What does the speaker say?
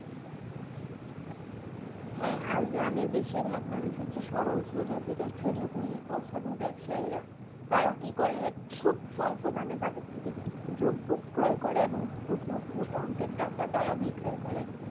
হ্যাঁ আর গ্রামের বেশিরভাগ মানুষ হচ্ছে সরল-সোজা যেটার সুযোগ নেই অসাধু ব্যবসায়ীরা, তারা কি করে? খুব স্বল্প দামে তাদের থেকে দ্রব্য ক্রয় করে এবং প্রচুর মোটা অংকের টাকা তারা বিক্রি করে